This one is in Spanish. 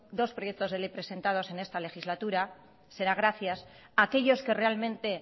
dos proyectos de ley presentados en esta legislatura será gracias a aquellos que realmente